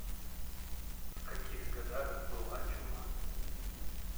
в каких годах была чума